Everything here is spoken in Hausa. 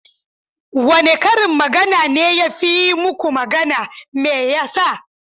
Wane karin magana ne ya fi yi muku magana? Me yasa?